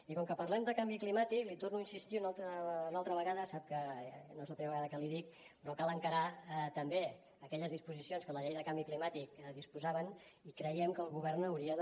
i com que parlem de canvi climàtic l’hi torno a insistir una altra vegada i sap que no és la primera vegada que l’hi dic però cal encarar també aquelles disposicions que la llei de canvi climàtic disposava i creiem que el govern hauria de